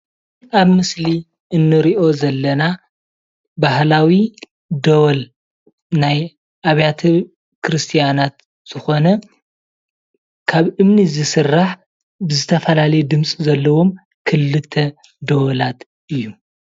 አብ ምስሊ እንሪኦ ዘለና ባህላዊ ደወል ናይ አብያተ ክርስትያናት ዝኾነ ካብ እምኒ ዝስራሕ ብዝተፈላለየ ድምፂ ዘለዎም ክልተ ደወላት እዩ።